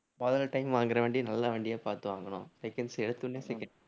மொதல்ல time வாங்குற வண்டிய நல்ல வண்டியா பார்த்து வாங்கணும் seconds எடுத்த உடனே seconds